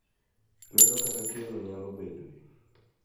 Luedo kata tielo nyalo bedoe.